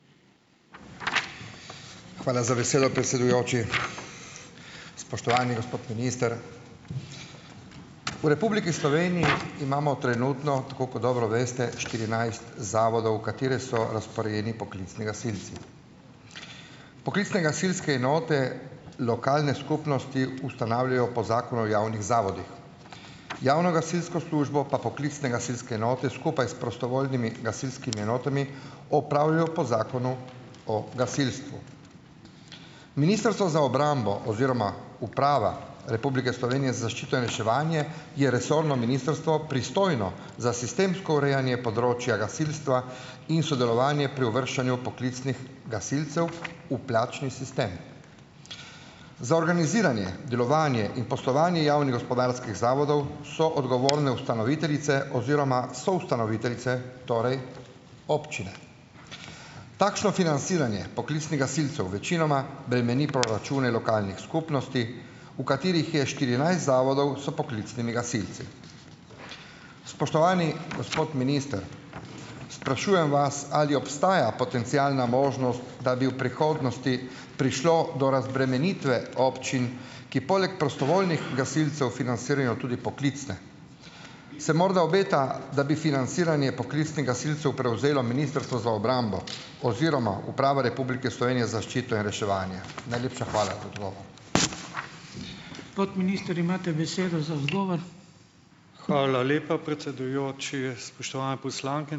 Hvala za besedo, predsedujoči. Spoštovani gospod minister! V Republiki Sloveniji imamo trenutno, tako kot dobro veste, štirinajst zavodov, v katere so razporejeni poklicni gasilci. Poklicne gasilske enote lokalne skupnosti ustanavljajo po zakonu o javnih zavodih, javno gasilsko službo pa poklicne gasilske enote skupaj s prostovoljnimi gasilskimi enotami opravljajo po Zakonu o gasilstvu. Ministrstvo za obrambo oziroma Uprava Republike Slovenije zaščito in reševanje je resorno ministrstvo pristojno za sistemsko urejanje področja gasilstva in sodelovanje pri uvrščanju poklicnih gasilcev v plačni sistem. Za organiziranje, delovanje in poslovanje javnih gospodarskih zavodov so ogovorne ustanoviteljice oziroma soustanoviteljice, torej občine. Takšno financiranje poklicnih gasilcev večinoma bremeni proračune lokalnih skupnosti, v katerih je štirinajst zavodov s poklicnimi gasilci. Spoštovani gospod minister! Sprašujem vas: Ali obstaja potencialna možnost, da bi v prihodnosti prišlo do razbremenitve občin, ki poleg prostovoljnih gasilcev financirajo tudi poklicne? Se morda obeta, da bi financiranje poklicnih gasilcev prevzelo ministrstvo za obrambo oziroma Uprava Republike Slovenije zaščito in reševanje? Najlepša hvala za odgovor.